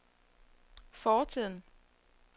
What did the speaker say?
fortiden